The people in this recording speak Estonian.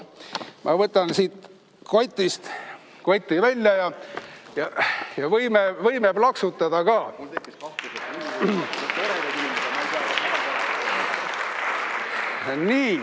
Ma võtan siit kotist koti välja ja võime plaksutada ka.